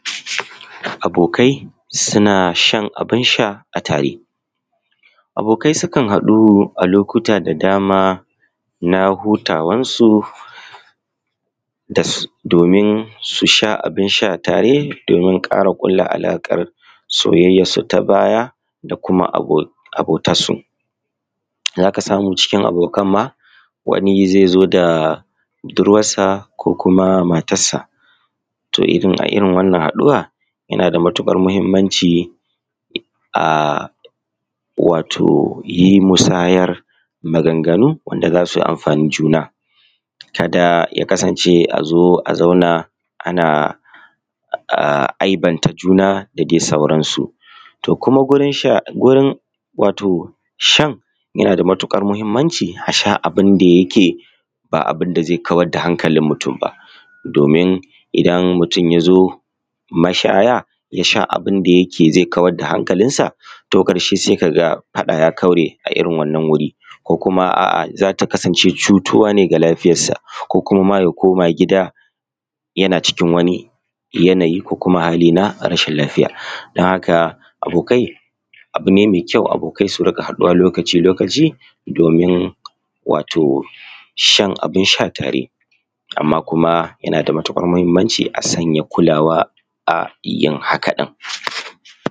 Abokai suna shan abun sha a tare, abokai sukan haɗu a lokuta da dama na hutawansu domin su sha abin sha tare domin su sake ƙulla alaƙa da soyayyarsu ta baya da kuma abotansu. Za ka samu cikin abokan ma wani zai zo da budurwarsa ko da matarsa, to a irin wannan haduwa yana da muhimmanci a wato yi musayan maganganu da za su amfani juna. Ka da ya Kasance a zo a zauna ana aibanta juna da di sauransu, wurin shan yana da matuƙar muhimmanci a sha abun da yake ba abun da zai kawar da hankalin mutum ba domin idan mutum ya zo mashaya ya sha abun da zai kawar da hankalinsa ƙarshe sai ka ga faɗa ya kaure a irin wannan wuri, ko kuma za ta kasance cutuwa ne ga lafiyarsa ko kuma ma ya koma gida yana cikin wani yanayi ko hali na rashin lafiya. Don haka abokai abu ne mai ƙyau abokai su riƙa haɗuwa lokaci -lokaci domin wato shan abun sha tare, kuma yana da matuƙar muhimmanci a sanya kulawa a yin haka ɗin.